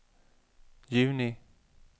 juni